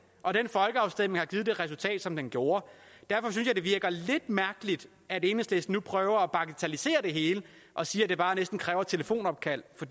og den folkeafstemning har givet det resultat som den gjorde derfor synes jeg at det virker lidt mærkeligt at enhedslisten nu prøver at bagatellisere det hele og siger at det bare næsten kræver et telefonopkald for